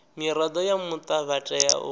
mirado ya muta vha tea